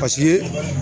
Paseke